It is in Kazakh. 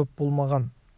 көп болмаған